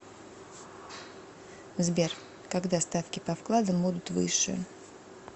сбер когда ставки по вкладам будут выше